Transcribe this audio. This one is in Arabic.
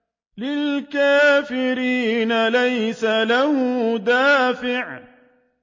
لِّلْكَافِرِينَ لَيْسَ لَهُ دَافِعٌ